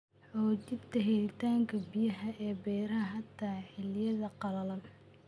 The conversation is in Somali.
Xoojinta helitaanka biyaha ee beeraha xitaa xilliyada qalalan.